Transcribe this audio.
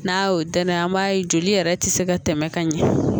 N'a y'o danaya an b'a ye joli yɛrɛ ti se ka tɛmɛ ka ɲɛ